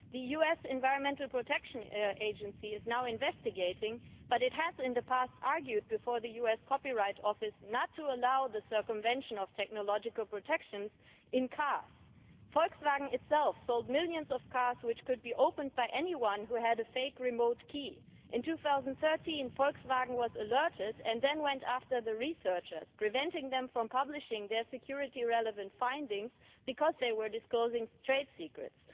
The US Environmental Protection Agency is now investigating, but it has in the past argued before the US Copyright Office not to allow the circumvention of technological protection in cars. Volkswagen itself sold millions of cars which could be opened by anyone who had a fake remote key. In 2013, Volkswagen was alerted and then went after the researchers, preventing them from publishing their security relevant findings because they were disclosing trade secrets.